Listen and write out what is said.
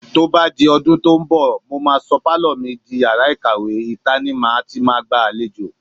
Tó bá dọdún tó ń bọ̀, mó máa sọ pálọ̀ mi di yàrá ìkàwé, ìta ni màá ti máa gbàlejò.